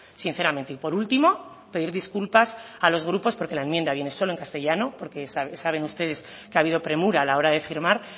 sinceramente y por último pedir disculpas a los grupos porque la enmienda viene solo en castellano porque saben ustedes que ha habido premura a la hora de firmar